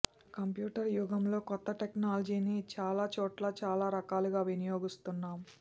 computer యుగంలో కొత్త టెక్నాలజీని చాలా చోట్ల చాలా రకాలుగా వినియోగిస్తున్నాం